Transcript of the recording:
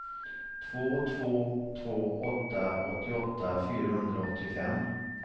två två två åtta åttioåtta fyrahundraåttiofem